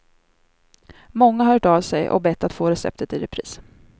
Många har hört av sig och bett att få receptet i repris.